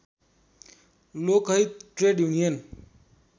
Lokhit trade union